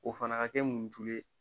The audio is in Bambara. O fana ka kɛ mun tulu ye